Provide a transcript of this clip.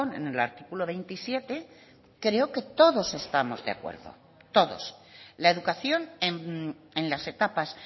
en el artículo veintisiete creo que todos estamos de acuerdo todos la educación en las etapas